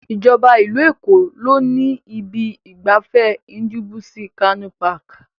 Ìjọba ìlú Èkó ló ni ibi ìgbafẹ́ Ndubuisi Kanu Park.